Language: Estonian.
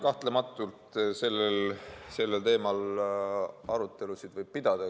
Kahtlematult sellel teemal võib arutelusid pidada.